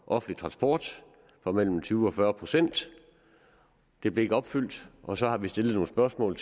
offentlig transport på mellem tyve og fyrre procent det blev ikke opfyldt og så har vi stillet nogle spørgsmål